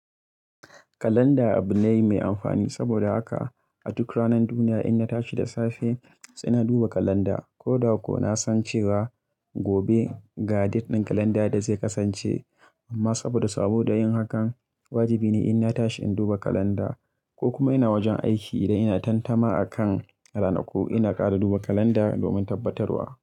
Kalanda abu ne mai amfani saboda haka a duk ranar duniya ina tashi da safe sai na duba kalanda ko da ko na san cewa gobe ga date ɗin kalanda da zai kasance. Amma saboda saboda yin hakan wajibi ne inna tashi in duba kalanda ko kuma ina wajen aiki idan ina tantama akan rana ko ina ƙara duba kalanda domin tabbatarwa.